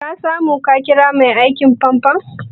Ka samu ka ƙira mai aikin famfon?